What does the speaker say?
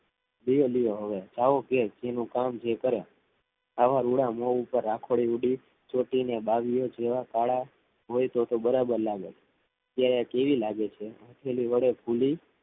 લ્યો લો હવે જાઓ જેનું કામ છે જે કરે આવા રૂડા મોં ઉપર રાખોડી ઉડી ને ચોટી બાંધ્યો જેવા કાળા હોય તો બરાબર લાગુ અત્યારે કેવી લાગે છે તેની વડે ભૂલી